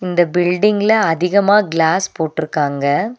இந்த பில்டிங்ல அதிகமாக கிளாஸ் போட்ருக்காங்க.